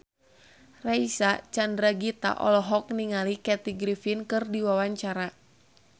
Reysa Chandragitta olohok ningali Kathy Griffin keur diwawancara